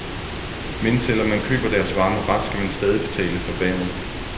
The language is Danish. Men selv om man køber deres varme ret, skal man stadig betale for vandet.